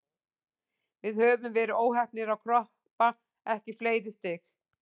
Við höfum verið óheppnir að kroppa ekki í fleiri stig.